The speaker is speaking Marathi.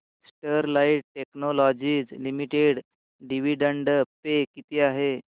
Sterlite technologies limited dividend pay किती आहे